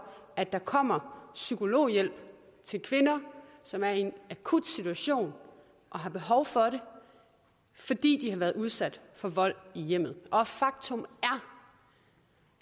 at der kommer psykologhjælp til kvinder som er i en akut situation og har behov for hjælp fordi de har været udsat for vold i hjemmet og faktum